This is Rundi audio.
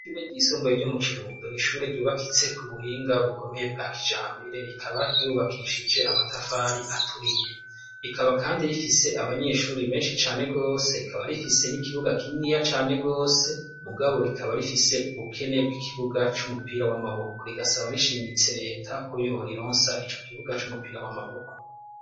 Ishure ry'isumbuye ryo mu kirundo ni ishure ryubakitse ku buhinga bukomeye bwa kijambere, rikaba ryubakishije amatafari aturiye ,rikaba kandi rifise abanyeshuri benshi cane gose ,rikaba rifise n'ikibuga kininiya cane gose ,mugabo rikaba rifise ubukene bw'ikibuga c'umupira w'amaboko, rigasaba rishimitse reta ko yorironsa ico kibuga c'umupira w'amaboko.